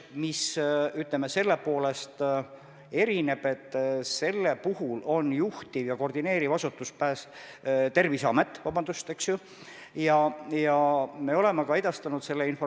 Maailma Terviseorganisatsioon hoiatas esmaspäeval, et nüüd eksisteerib väga reaalne oht, et uue koroonaviiruse puhang võib muutuda pandeemiaks.